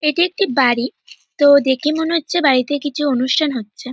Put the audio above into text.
এটি একটি বাড়ি। তো দেখে মনে হচ্ছে বাড়িতে কিছু অনুষ্ঠান হচ্ছে।